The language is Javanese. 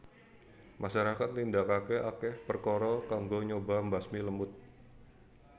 Masyarakat nindakake akeh perkara kanggo nyoba mbasmi lemut